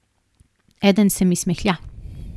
Eden se mi smehlja.